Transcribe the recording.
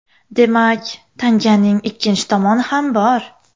Demak, tanganing ikkinchi tomoni ham bor.